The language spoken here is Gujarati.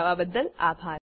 જોડાવા બદ્દલ આભાર